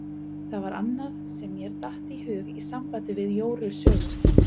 Það var annað sem mér datt í hug í sambandi við Jóru sögu.